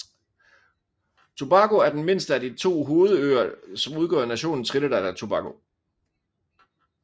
Tobago er den mindste af de to hovedøer som udgør nationen Trinidad og Tobago